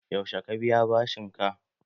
Yaushe ka biya bashin ka?